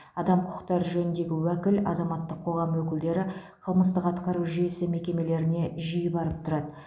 адам құқықтары жөніндегі уәкіл азаматтық қоғам өкілдері қылмыстық атқару жүйесі мекемелеріне жиі барып тұрады